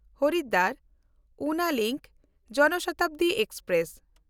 Haridwar-Una link ᱡᱚᱱᱥᱚᱛᱟᱵᱫᱤ express